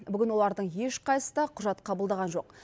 бүгін олардың ешқайсысы да құжат қабылдаған жоқ